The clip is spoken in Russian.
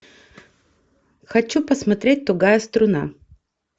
хочу посмотреть тугая струна